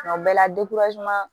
Kuma bɛɛ la